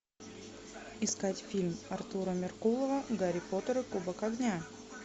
искать фильм артура меркулова гарри поттер и кубок огня